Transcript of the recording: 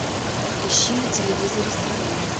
ищи на телевизоре страна